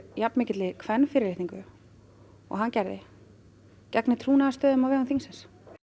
jafnmikilli kvenfyrirlitningu og hann gerði gegni trúnaðarstörfum á vegum þingsins